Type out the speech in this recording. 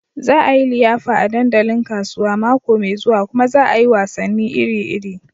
Za a yi liyafa a dandalin kasuwa mako mai zuwa kuma za a yi wasanni iri-iri.